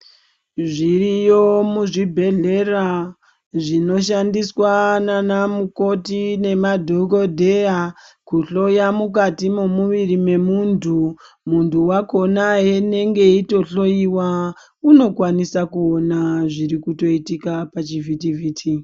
Zviriyo muzvibhedhlera zvinoshandiswa naanamukoti nemadhokodheya kuhloya mukati memuviri memuntu. Muntu wakhona unenge eitohloyiwa unokwanisa kuona zvirikutoitika pachivhitivhiti.